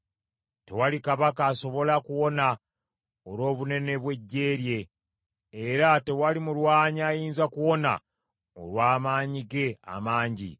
Tewali kabaka asobola kuwona olw’obunene bw’eggye lye; era tewali mulwanyi ayinza kuwona olw’amaanyi ge amangi.